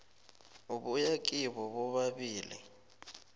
ebuya kibo bobabili